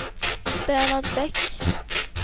Bernhard Bäck